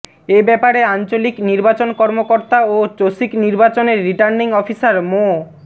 এ ব্যাপারে আঞ্চলিক নির্বাচন কর্মকর্তা ও চসিক নির্বাচনের রির্টানিং অফিসার মো